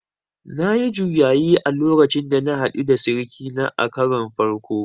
Nayi juyayi a lokacin da na haɗu da sirikina a karon farko